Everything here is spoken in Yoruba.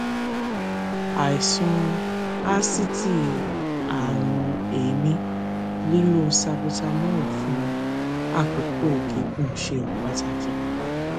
àìsàn asítì àrùn èémí lílo salbutamol fún àkókò gígùn ṣe pàtàkì